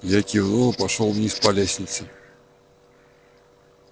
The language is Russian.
я кивнул и пошёл вниз по лестнице